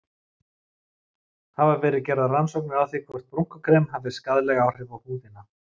Hafa verið gerðar rannsóknir á því hvort brúnkukrem hafi skaðleg áhrif á húðina?